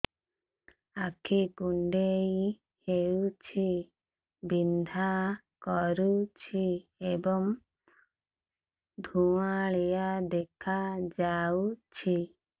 ଆଖି କୁଂଡେଇ ହେଉଛି ବିଂଧା କରୁଛି ଏବଂ ଧୁଁଆଳିଆ ଦେଖାଯାଉଛି